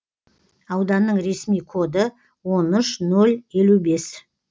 ауданның ресми коды он үш нөл елу бес